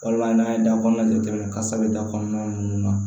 Wala n'an ye da kɔnɔna jatemina kasa bɛ da kɔnɔna na